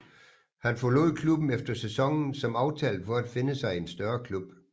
Han forlod klubben efter sæsonen som aftalt for at finde sig en større klub